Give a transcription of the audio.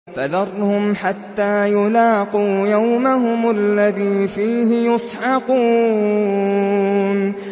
فَذَرْهُمْ حَتَّىٰ يُلَاقُوا يَوْمَهُمُ الَّذِي فِيهِ يُصْعَقُونَ